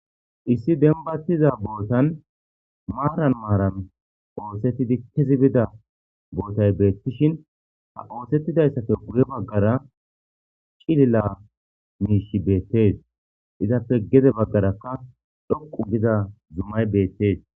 Issi dembbatiza bottan maran maran oosettidii kezi biida bottay bettishein ha oosetidayssappe guye baggara ciililla mishshi bettes izappe gedde baggarakka dhoqqu gida zuumay bettes